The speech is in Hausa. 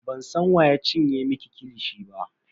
Bansan wa ya cinye miki kilishi ba.